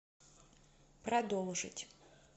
продолжить